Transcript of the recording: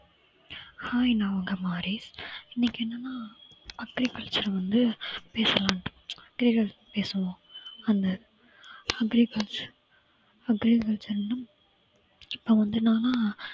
hi நான் உங்க இன்னைக்கு என்னென்னா agriculture வந்து பேசலாம் agriculture பேசுவோம் அந்த agriculture agriculture வந்து இப்ப வந்து என்னன்னா